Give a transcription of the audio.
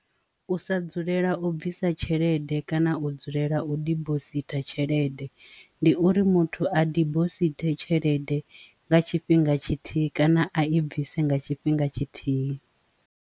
U sa dzulela u bvisa tshelede kana u dzulela u dibositha tshelede ndi uri muthu a dibosithi tshelede nga tshifhinga tshithihi kana a i bvise nga tshifhinga tshithihi.